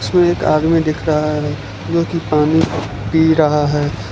इसमें एक आदमी दिख रहा है जो कि पानी पी रहा है।